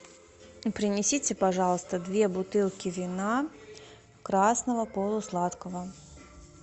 принесите пожалуйста две бутылки вина красного полусладкого